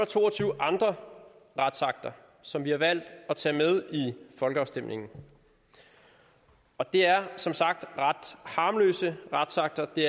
to og tyve andre retsakter som vi har valgt at tage med i folkeafstemningen og det er som sagt ret harmløse retsakter det